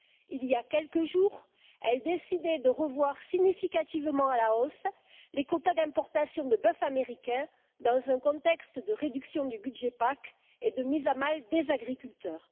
Il y a quelques jours, elle décidait de revoir significativement à la hausse les quotas d'importation de bœuf américain, dans un contexte de réduction du budget PAC et de mise à mal des agriculteurs.